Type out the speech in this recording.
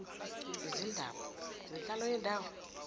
izindaba zenhlalo yendawo